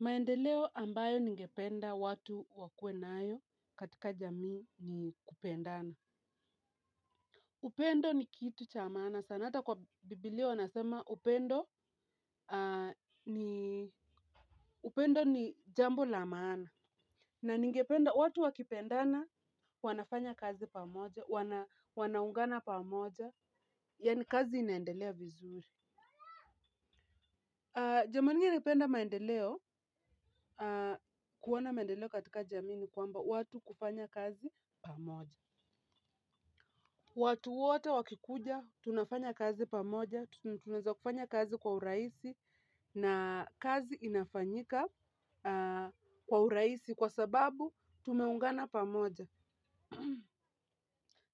Maendeleo ambayo ningependa watu wakuwe nayo katika jamii ni kupendana. Upendo ni kitu cha maana, sana ata kwa biblia wanasema upendo upendo ni jambo la maana. Na ningependa watu wakipendana wanafanya kazi pamoja, wanaungana pamoja, yaani kazi inaendelea vizuri. Jambo lingine napenda maendeleo kuona maendeleo katika jamii ni kwamba watu kufanya kazi pamoja. Watu wote wakikuja tunafanya kazi pamoja, tunaweza kufanya kazi kwa urahisi na kazi inafanyika kwa urahisi kwa sababu tumeungana pamoja.